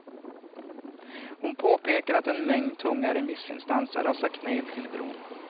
Hon påpekar att en mängd tunga remissinstanser har sagt nej till bron.